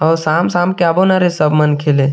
और शाम-शाम के आबो न रे सब मन खेले--